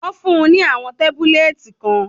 Wọ́n fún-un ní àwọn tábúlẹ́ẹ̀tì kan.